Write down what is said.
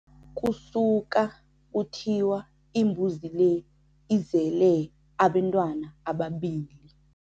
Kusuka kuthiwa imbuzi le izele abentwana ababili.